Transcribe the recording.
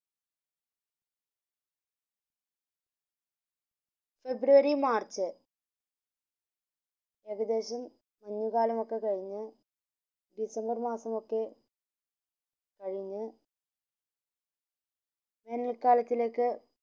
ഫെബ്രുവരി March February മഞ്ഞുകാലൊക്കെ കയിഞ്ഞു December മാസമൊക്ക കയിഞ്ഞ വേനൽ കാലത്തിലേക്